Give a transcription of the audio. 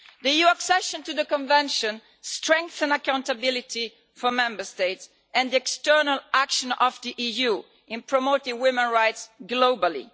The EU accession to the Convention strengthens accountability for Member States and external action of the EU in promoting women's rights globally.